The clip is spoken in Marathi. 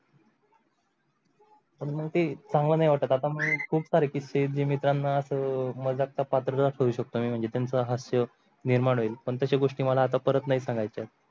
पण मग ते चांगल नाही वाटत आता. खूप सारे किसे जे मित्राना अस मझाकचा सासुरवास होऊ शकतो ते म्हणजे त्यांच्या हास्य निर्माण होईल पण तशा गोष्टी मला आता परत नाही सांगयच आहे.